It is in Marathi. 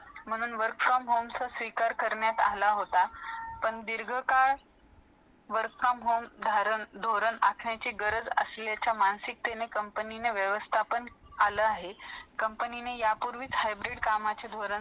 भूतकाळाबद्दल देखील सांगते. जेव्हा विद्यार्थी सहाव्या वर्गात पोहोचतो,